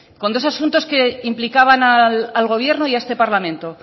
con dos asuntos que implicaban al gobierno y a este parlamento